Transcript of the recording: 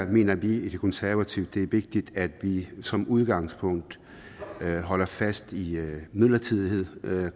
mener vi i konservative det er vigtigt at vi som udgangspunkt holder fast i midlertidighed